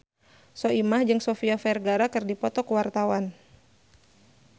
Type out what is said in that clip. Soimah jeung Sofia Vergara keur dipoto ku wartawan